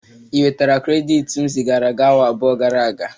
Ị nwetala krediti m zigara gi awa abụọ gara aga?